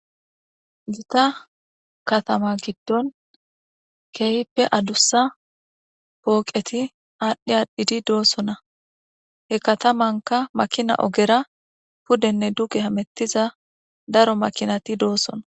gita katama giddon keeyippe adussa pooqeti aadhdhi aadhdhidi doosona he katamanka makina ogera pudenne duge hamettiza daro makinati doossona